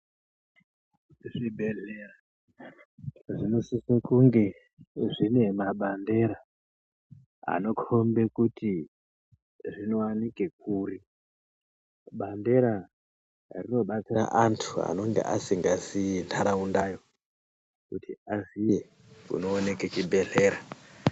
Zvibhedhlera zvinosise kunge zvine mabandera anokhombe kuti zvinowanikwe kuri. Bandera rinobatsiraa antu anenge asingazii nharaundayo kuti aziye kunooneke chibhedhlera.